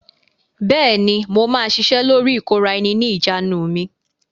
Bẹ́ẹ̀ ni, mo máa ṣiṣẹ́ lórí ìkóra-ẹni-ní-ìjánu mi.